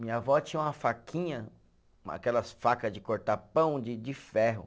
Minha avó tinha uma faquinha, aquelas faca de cortar pão de de ferro.